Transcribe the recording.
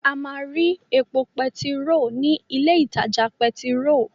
A máa rí epo pẹtiró ní ilé ìtajà pẹtiró.